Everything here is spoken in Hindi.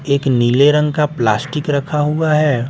एक नीले रंग का प्लास्टिक रखा हुआ है।